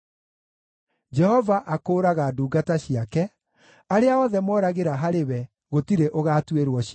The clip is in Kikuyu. Jehova akũũraga ndungata ciake; arĩa othe moragĩra harĩ we gũtirĩ ũgaatuĩrwo ciira.